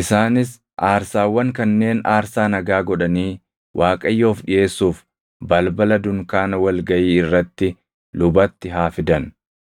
Isaanis aarsaawwan kanneen aarsaa nagaa godhanii Waaqayyoof dhiʼeessuuf balbala dunkaana wal gaʼii irratti lubatti haa fidan.